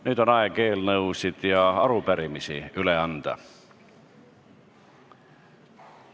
Nüüd on aeg eelnõusid ja arupärimisi üle anda.